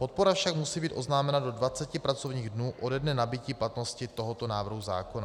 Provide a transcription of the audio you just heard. Podpora však musí být oznámena do 20 pracovních dnů ode dne nabytí platnosti tohoto návrhu zákona.